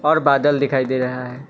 और बादल दिखाई दे रहा हैं।